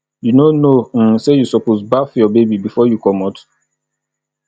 you no know um sey you suppose baff your baby before you comot